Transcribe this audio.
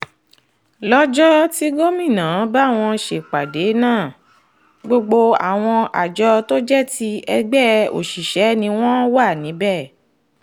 lọ́jọ́ tí gómìnà bá wọn ṣèpàdé náà gbogbo àwọn àjọ tó jẹ́ ti ẹgbẹ́ òṣìṣẹ́ ni wọ́n wà níbẹ̀